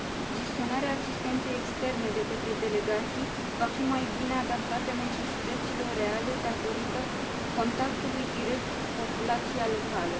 Gestionarea asistenței externe de către delegații va fi mai bine adaptată necesităților reale, datorită contactului direct cu populația locală.